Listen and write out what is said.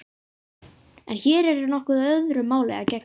En hér er nokkuð öðru máli að gegna.